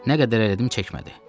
Nə qədər elədim çəkmədi.